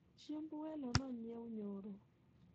chiemb welo nonyiew nyoro